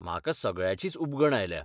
म्हाका सगळ्याचीच उबगण आयल्या.